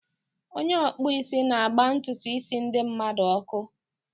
Onye ọkpụisi na-agba ntutu isi ndi mmadu ọkụ.